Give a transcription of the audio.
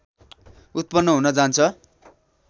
उत्पन्न हुन जान्छ